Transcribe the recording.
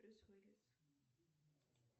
брюс уиллис